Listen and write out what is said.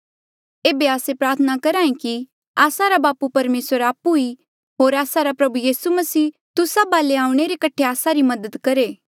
एेबे आस्से प्रार्थना करहे कि आस्सा रा बापू परमेसर आपु ई होर आस्सा रा प्रभु यीसू मसीह तुस्सा वाले आऊणें रे कठे आस्सा री मदद करहे